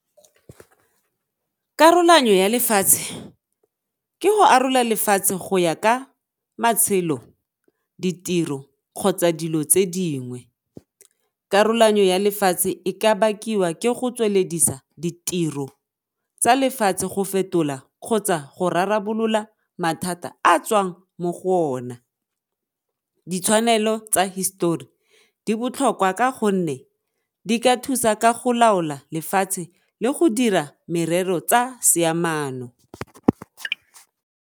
Karolanyo ya lefatshe ke go arola lefatshe go ya ka matshelo, ditiro kgotsa dilo tse dingwe. Karolanyo ya lefatshe e ka bakiwa ke go tsweledisa ditiro tsa lefatshe go fetola kgotsa go rarabolola mathata a tswang mo go ona. Ditshwanelo tsa hisetori di botlhokwa ka gonne di ka thusa ka go laola lefatshe le go dira merero tsa seamano.